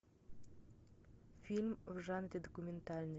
фильм в жанре документальный